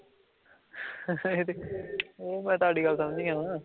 ਊਂ ਮੈਂ ਤੁਹਾਡੀ ਗੱਲ ਸਮਝ ਗਿਆ ਹਾਂ